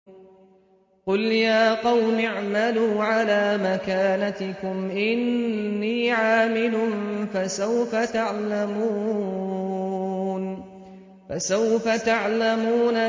قُلْ يَا قَوْمِ اعْمَلُوا عَلَىٰ مَكَانَتِكُمْ إِنِّي عَامِلٌ ۖ فَسَوْفَ تَعْلَمُونَ